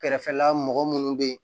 Kɛrɛfɛla mɔgɔ munnu be yen